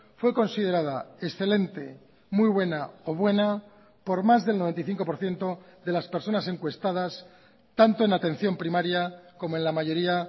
fue considerada excelente muy buena o buena por más del noventa y cinco por ciento de las personas encuestadas tanto en atención primaria como en la mayoría